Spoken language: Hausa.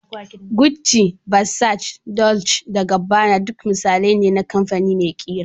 Gucci, Versace, Dolce da Gabbana duk misalai ne na kamfani mai ƙira